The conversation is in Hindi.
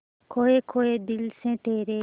खोए खोए दिल से तेरे